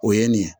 O ye nin ye